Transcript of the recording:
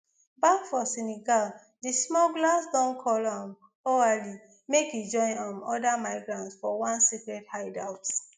back for senegal di smugglers don call um oualy make e join um oda migrants for one secret hideout